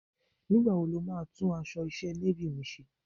Nígbà wo ni o máa tún aṣọ iṣẹ́ Navy mi ṣe?